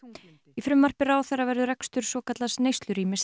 í frumvarpi ráðherra verður rekstur svokallaðs